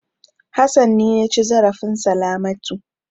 Hassan ne ya ci zarafin Salamatu.